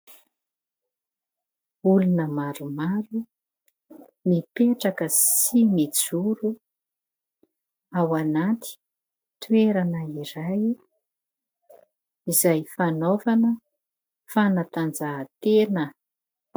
Olona maromaro mipetraka sy mijoro ao anaty toerana iray izay fanaovana fanatanjahan-tena.